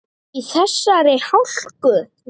Í þessari hálku?